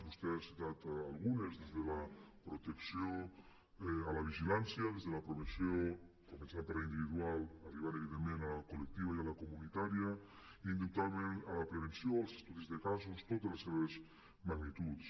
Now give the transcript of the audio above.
vostè n’ha citat algunes des de la protecció a la vigilància des de la prevenció començant per la individual arribant evidentment a la col·lectiva i a la comunitària indubtablement a la prevenció als estudis de casos totes les seves magnituds